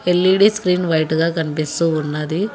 LED screen వైటుగా కన్పిస్తూ ఉన్నది.